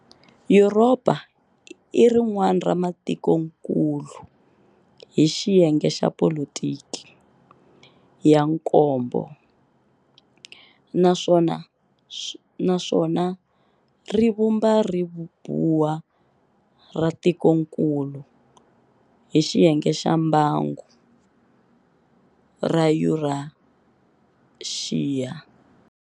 Yuropa i rinwana ra Matikonkulu, hi xiyenge xa Politiki, ya nkombo, naswona rivumba ribuwa ra Tikonkulu, Hi xiyenge xa Mbangu, ra Yuraxiya.